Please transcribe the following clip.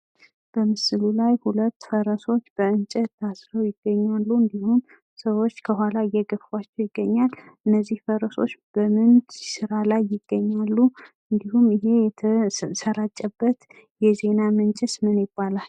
በምስሉ ላይ ሁለት ፈረሶች በእንጨት ታስረው ይገኛሉ። እንዲሁም ሰዎች ከኋላቸው እየገፏቸው ይገኛሉ። እነዚህ ፈረሶች በምን ስራ ላይ ይገኛሉ? ይህ የተሰራጨበት የዜና ምንጭስ ምን ይባላል?